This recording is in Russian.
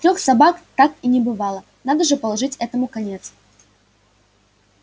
трёх собак как и не бывало надо же положить этому конец